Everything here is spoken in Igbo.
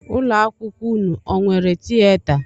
Ụlọ akwụkwọ ụnụ o nwere tieta?